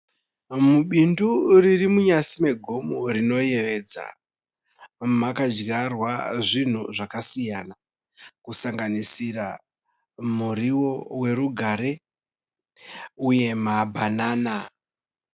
Mubindu riri munyasi megomo rinoyevedza. Makadyarwa zvinhu zvakasiyana kusanganisira muriwo werugare uye mabhanana.